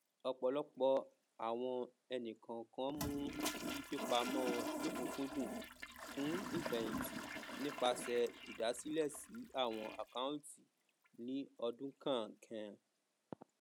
ọpọlọpọ àwọn ènìkọọkan mú fífipamọ lọkùnkúndùn fún ìfẹhìntì nípasẹ ìdàsílẹ sí àwọn akọunti ní ọdún kọọkan